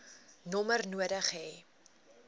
nommer nodig hê